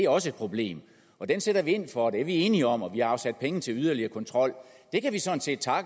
også et problem og den sætter vi ind over for det er vi enige om og vi har afsat penge til yderligere kontrol